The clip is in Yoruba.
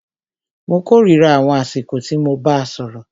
Mó kòrira àwọn àsìkò tí mo bàá sọ̀rọ̀.